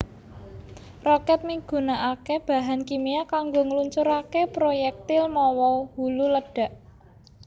Rokèt migunakaké bahan kimia kanggo ngluncuraké proyektil mawa hulu ledhak